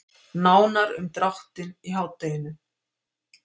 Nánar um dráttinn í hádeginu.